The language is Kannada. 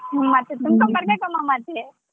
ಹ್ಮ್ ಮತ್ತೆ ತುಂಬ್ಕೊಂಡ್ ಬರ್ಬೇಕಮ್ಮ ಮತ್ತೆ.